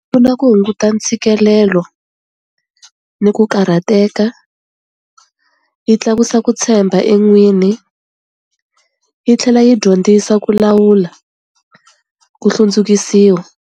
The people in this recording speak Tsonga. Pfuna ku hunguta ntshikelelo ni ku karhateka, yi tlakusa ku tshemba en'wini, yi tlhela yi dyondzisa ku lawula ku hlundzukisiwa.